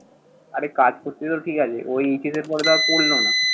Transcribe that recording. আরে কাজ করছে তো ঠিক আছে। ও HSC র পরে তো আর পড়লো না।